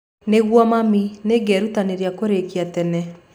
Nĩguo mami. Nĩngerutanĩria kũrĩkia tene.